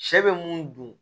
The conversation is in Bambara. Sɛ bɛ mun dun